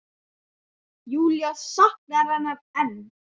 Júlía saknar hennar enn.